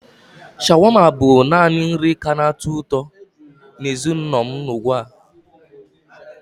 Shawarma bụ naanị nri anyị ka na-atọ ụtọ na ezinụlọ m ka ọ dị ugbu a.